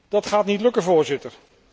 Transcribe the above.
Dat gaat niet lukken, Voorzitter.